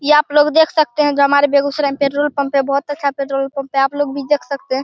ये आप लोग देख सकते है जो हमारे बेगुसराय मे पेट्रोल पंप है। बहुत अच्छा पेट्रोल पंप है। आपलोग भी देख सकते है ।